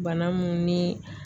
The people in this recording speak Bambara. Bana mun ni